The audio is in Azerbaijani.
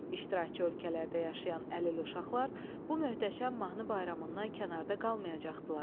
İştirakçı ölkələrdə yaşayan əlil uşaqlar bu möhtəşəm mahnı bayramından kənarda qalmayacaqdılar.